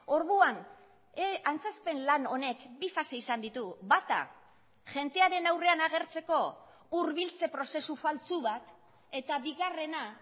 orduan antzezpen lan honek bi fase izan ditu bata jendearen aurrean agertzeko hurbiltze prozesu faltsu bat eta bigarrena